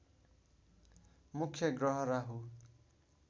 मुख्य ग्रह राहु